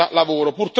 lavoro.